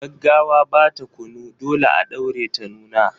Gaggawa ba ta kunu, dole a ɗaure ta nuna.